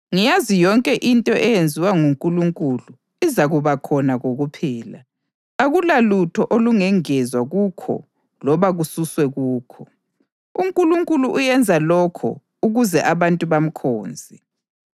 Ngiyazi yonke into eyenziwa nguNkulunkulu izakuba khona kokuphela; akulalutho olungengezwa kukho loba kususwe kukho. UNkulunkulu uyenza lokho ukuze abantu bamkhonze.